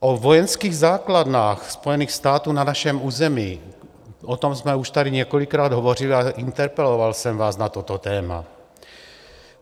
O vojenských základnách Spojených států na našem území, o tom jsme už tady několikrát hovořili, ale interpeloval jsem vás na toto téma.